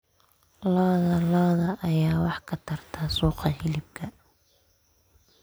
Lo'da lo'da ayaa wax ka tarta suuqa hilibka.